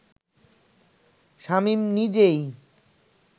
শামীম নিজেই